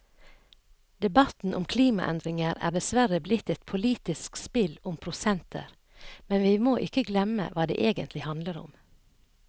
Debatten om klimaendringer er dessverre blitt et politisk spill om prosenter, men vi må ikke glemme hva det egentlig handler om.